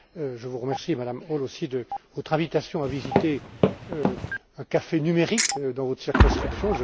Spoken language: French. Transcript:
Je vous remercie, Madame Hall, aussi de votre invitation à visiter un café numérique dans votre circonscription.